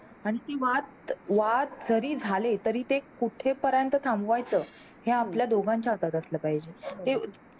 आणि ते वाद वाद जरी झाले तरी ते कुठे पर्यंत थांबवायचे हे आपल्या दोघांच्या हातात असाल पाहिजे ते.